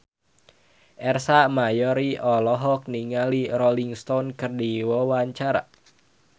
Ersa Mayori olohok ningali Rolling Stone keur diwawancara